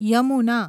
Yamuna